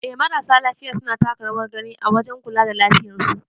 Eh marasa lafiya suna taka rawar gani a wajen kula da lafiyar su.